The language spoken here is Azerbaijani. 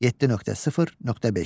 7.0.5.